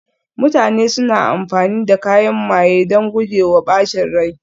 mutane suna amfani da kayan maye don guje wa ɓacin rai